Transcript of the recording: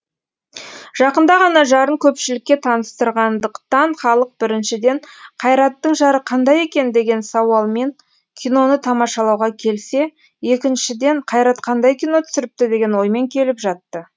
жақында ғана жарын көпшілікке таныстырғандықтан халық біріншіден қайраттың жары қандай екен деген сауалмен киноны тамашалауға келсе екіншіден қайрат қандай кино түсіріпті деген оймен келіп жатты